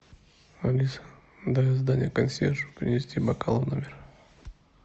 алиса дай задание консьержу принести бокалы в номер